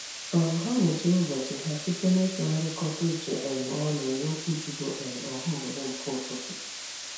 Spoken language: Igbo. um Ha mechiri ụbọchị ha site n'ịtụgharịkọta uche um ọnụ n'okwuchukwu um ọhaobodo nke ụtụtụ.